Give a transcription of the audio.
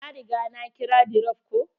Na riga na kira dirop ko.